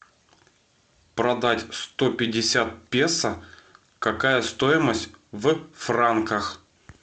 продать сто пятьдесят песо какая стоимость в франках